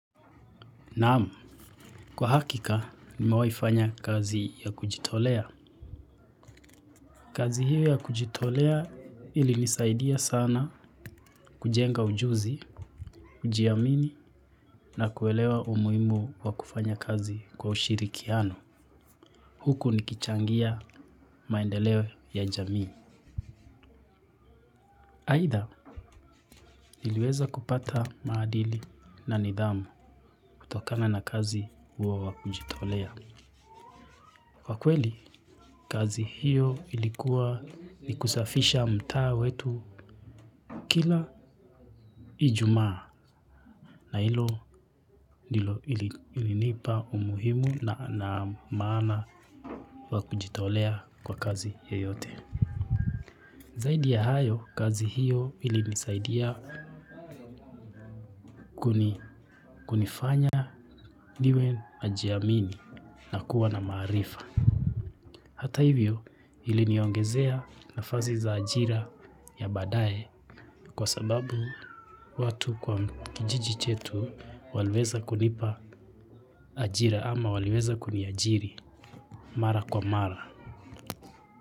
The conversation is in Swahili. Naam, kwa hakika nimewaifanya kazi ya kujitolea. Kazi hiyo ya kujitolea ilinisaidia sana kujenga ujuzi, kujiamini na kuelewa umuhimu wa kufanya kazi kwa ushirikiano. Huku nikichangia maendeleo ya jamii. Aidha, niliweza kupata maadili na nidhamu kutokana na kazi huo wa kujitolea. Kwa kweli, kazi hiyo ilikuwa ni kusafisha mtaa wetu kila ijumaa na hilo ndio ilinipa umuhimu na maana wa kujitolea kwa kazi yeyote. Zaidi ya hayo, kazi hiyo ilinisaidia kunifanya niwe najiamini na kuwa na maarifa. Hata hivyo, iliniongezea nafasi za ajira ya baadae kwa sababu watu kwa kijiji chetu waliweza kunipa ajira ama waliweza kuniajiri mara kwa mara.